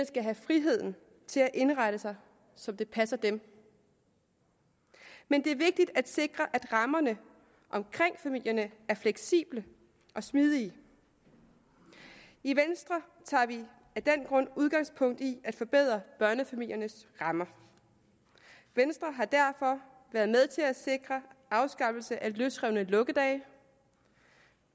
skal have friheden til at indrette sig som det passer dem men det er vigtigt at sikre at rammerne omkring familierne er fleksible og smidige i venstre tager vi af den grund udgangspunkt i at forbedre børnefamiliernes rammer venstre har derfor været med til at sikre afskaffelsen af løsrevne lukkedage